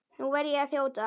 Nú verð ég að þjóta.